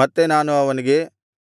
ಮತ್ತೆ ನಾನು ಅವನಿಗೆ